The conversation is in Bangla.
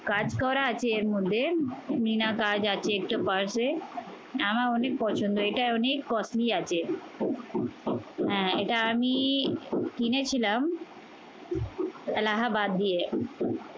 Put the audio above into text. কাজ করা আছে এর মধ্যে। মিনা কাজ আছে একটা purse এ। আমার অনেক পছন্দ, এটা অনেক costly আছে। হ্যাঁ এটা আমি কিনেছিলাম এলাহাবাদ দিয়ে।